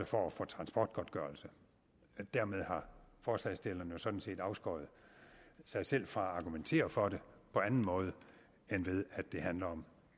for at få transportgodtgørelse dermed har forslagsstilleren jo sådan set afskåret sig selv fra at argumentere for det på anden måde end ved at det handler om